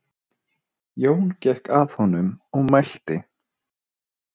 Jón gekk að honum og mælti